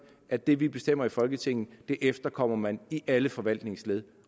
at det vi bestemmer i folketinget efterkommer man i alle forvaltningsled